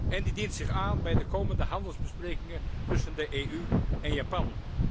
En die dient zich aan bij de komende handelsbesprekingen tussen de EU en Japan.